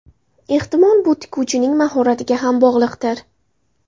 Ehtimol, bu tikuvchining mahoratiga ham bog‘liqdir.